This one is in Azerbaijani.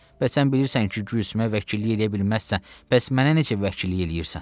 Bəs sən bilirsən ki, Gülsümə vəkillik eləyə bilməzsən, bəs mənə necə vəkillik eləyirsən?